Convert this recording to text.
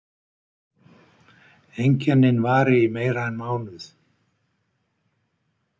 Einkennin vari í meira en mánuð.